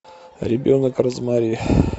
ребенок розмари